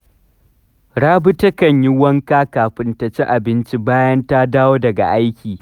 Rabi takan yi wanka kafin ta ci abinci bayan ta dawo daga aiki